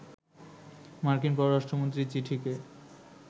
মার্কিন পররাষ্ট্রমন্ত্রীর চিঠিকে